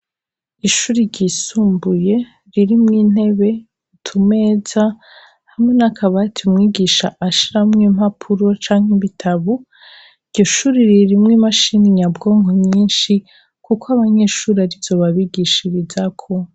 Ishure ryisumbuye ririmwo intebe, imeza, hamwe n'akabati mwigisha ashiramwo impapuro canke ibitabo, iryo shure ririmwo imashini nyabwonko nyinshi, kuko abanyeshure ari zo babigishirizako.